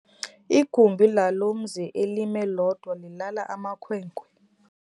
Igumbi lalo mzi elimi lodwa lilala amakhwenkwe.